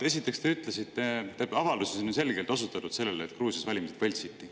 Esiteks, te ütlesite või, tähendab, avalduses on ju selgelt osutatud sellele, et Gruusias valimised võltsiti.